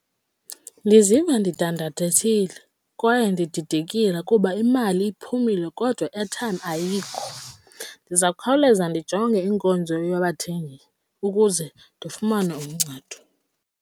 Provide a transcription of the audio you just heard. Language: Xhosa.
Ndiziva ndidandathekile kwaye ndididekile kuba imali iphumile kodwa i-airtime ayikho. Ndiza kukhawuleza ndijonge inkonzo yabathengi ukuze ndifumane uncedo.